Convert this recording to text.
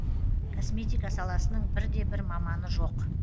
косметика саласының бірде бір маманы жоқ